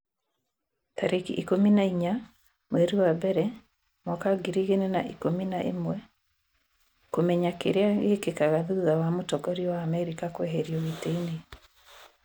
tarĩki ikũmi na inya mweri wa mbere mwaka wa ngiri igĩrĩ na ikũmi na ĩmweKũmenya kĩrĩa gĩkĩkaga thutha wa mũtongoria wa Amerika kũeherio gĩtĩ-inĩ